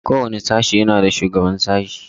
Kowane sashe yana da shugaban sashe.